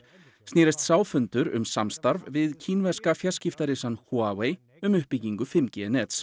snerist sá fundur um samstarf við kínverska fjarskiptarisann Huawei um uppbyggingu fimm g nets